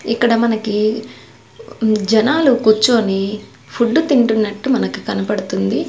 ఇక్కడ మనకి జనాలు కూర్చొని ఫుడ్డు తింటున్నట్టు మనకి కనపడుతుంది.